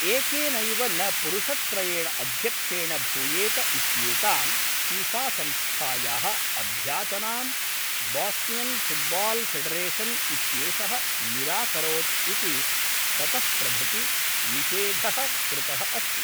एकेनैव न पुरुषत्रयेण अध्यक्षेण भूयेत इत्येतां फ़िफ़ासंस्थायाः अभ्याचनां बोस्नियन् फुट्बाल्फ़ेडरेशन् इत्येषः निराकरोत् इति ततः प्रभृति निषेधः कृतः अस्ति।